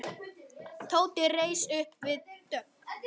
Tóti reis upp við dogg.